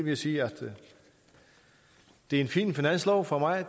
jeg sige at det er en fin finanslov for mig